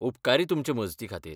उपकारी तुमचे मजती खातीर.